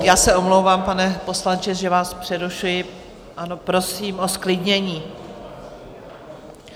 Já se omlouvám, pane poslanče, že vás přerušuji, ale prosím o zklidnění.